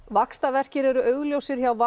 vaxtarverkir eru augljósir hjá